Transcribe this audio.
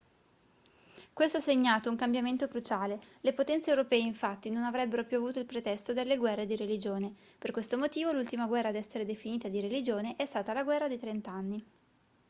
questo ha segnato un cambiamento cruciale le potenze europee infatti non avrebbero più avuto il pretesto delle guerre di religione per questo motivo l'ultima guerra ad essere definita di religione è stata la guerra dei trent'anni